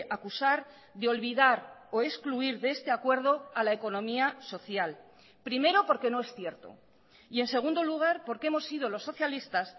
acusar de olvidar o excluir de este acuerdo a la economía social primero porque no es cierto y en segundo lugar porque hemos sido los socialistas